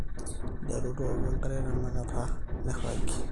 nteru tooku enkare tenakata niragiegie